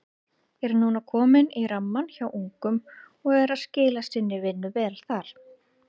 Er núna kominn í rammann hjá ungum og er að skila sinni vinnu vel þar.